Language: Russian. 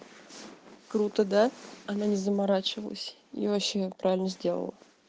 круто да она не заморачивалась и вообще правильно сделала